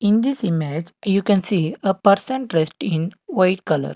in this image you can see a person dressed in white colour.